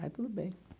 Aí, tudo bem.